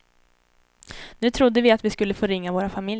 Nu trodde vi att vi skulle få ringa våra familjer.